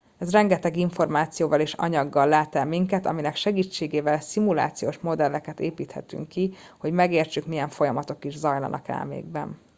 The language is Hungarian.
ez rengeteg információval és anyaggal lát el minket aminek segítségével szimulációs modelleket építhetünk ki hogy megértsük milyen folyamatok is zajlanak elménkben